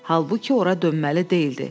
Halbuki ora dönməli deyildi.